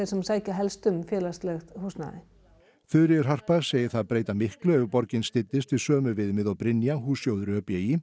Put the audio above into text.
sem sækir helst um félagslegt húsnæði Þuríður Harpa segir það breyta miklu ef borgin styddist við sömu viðmið og Brynja hússjóður ö b í